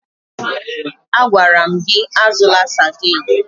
Agwara m gị azụla Sadiin!